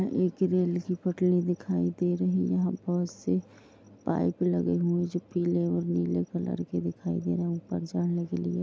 एक रेल की पटरी दिखाई दे रही है यहाँ पर से पाइप लगे है जो पिले और नीले कलर के दिखाई दे रहे है ऊपर जाने के लिए--